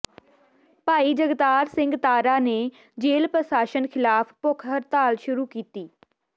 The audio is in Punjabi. ਭਾਈ ਜਗਤਾਰ ਸਿੰਘ ਤਾਰਾ ਨੇ ਜੇਲ ਪ੍ਰਸ਼ਾਸ਼ਨ ਖਿਲਾਫ ਭੁੱਖ ਹੜਤਾਲ ਸ਼ੁਰੂ ਕੀਤੀ